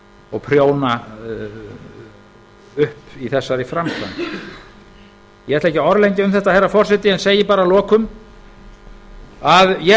og prjóna upp í þessari framkvæmd ég ætla ekki að orðlengja um þetta herra forseti en segi bara að lokum að ég